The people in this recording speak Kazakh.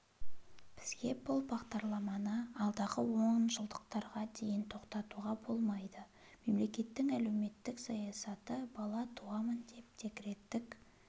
бізге бұл бағдарламаны алдағы онжылдықтарға дейін тоқтатуға болмайды мемлекеттің әлеуметтік саясаты бала туамын деп декреттік